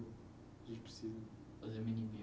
A gente precisa fazer a mini bio.